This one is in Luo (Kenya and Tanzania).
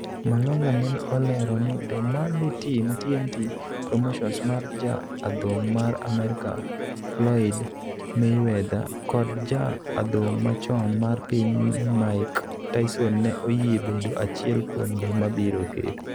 Malonza ne olero ni The Money Team (TMT) Promotions mar ja adhong' mar Amerka Floyd Mayweather kod ja adhong' machon mar piny Mike Tyson ne oyie bedo achiel kuom joma biro kedo.